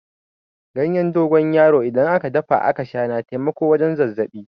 Ganyen dogon yaro in aka dafa aka Sha na taimakon wajen zazzabi.